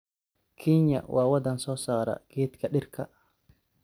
Kenya waa wadan soo saara geedka dhirka.